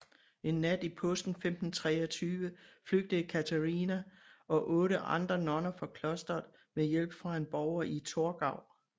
En nat i påsken 1523 flygtede Katharina og otte andre nonner fra klosteret med hjælp fra en borger i Torgau